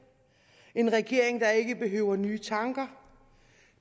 en regering der ikke behøver nye tanker